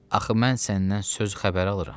Axı mən səndən söz xəbər alıram.